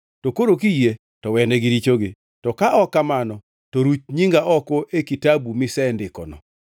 To koro kiyie, to wenegi richogi, to ka ok kamano, to ruch nyinga oko e kitabu misendikono.”